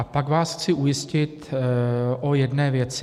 A pak vás chci ujistit o jedné věci.